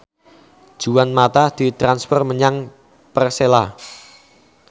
Juan mata ditransfer menyang Persela